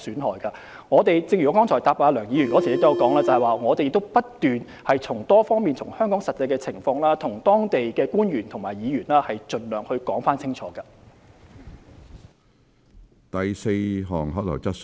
正如我剛才答覆梁議員的補充質詢時提到，我們不斷從多方面將香港的實際情況向當地官員和議員盡量作出清楚的解說。